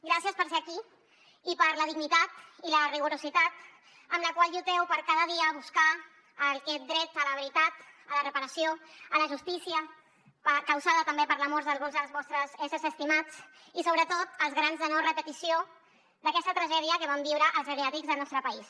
gràcies per ser aquí i per la dignitat i la rigorositat amb la qual lluiteu cada dia per buscar aquest dret a la veritat a la reparació a la justícia causada també per la mort d’alguns dels vostres éssers estimats i sobretot les ganes de no repetició d’aquesta tragèdia que van viure els geriàtrics del nostre país